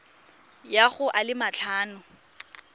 ya go a le matlhano